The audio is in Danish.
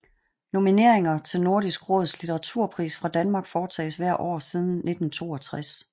Nomineringer til Nordisk Råds litteraturpris fra Danmark foretages hvert år siden 1962